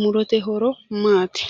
Murote horo maati?